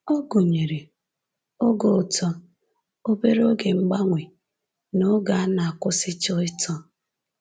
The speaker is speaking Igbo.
Ọ gụnyere oge uto, obere oge mgbanwe, na oge ọ na-akwụsịcha ito